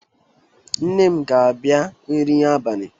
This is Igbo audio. Nne m ga-abia nri abalị.